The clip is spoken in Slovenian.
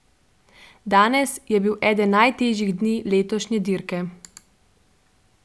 Danes je bil eden najtežjih dni letošnje dirke.